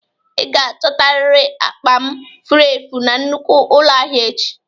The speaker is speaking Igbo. Ị ga-achotarịrị akpa m furu efu na nnukwu ụlọ ahịa echi!